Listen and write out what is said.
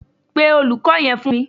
Pe Olùkó yẹn fún mi.